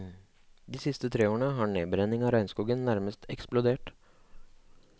De siste tre årene har nedbrenningen av regnskogen nærmest eksplodert.